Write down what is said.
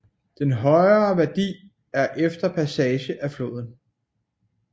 Den højere værdi er efter passage af floden